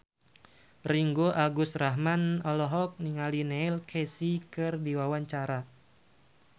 Ringgo Agus Rahman olohok ningali Neil Casey keur diwawancara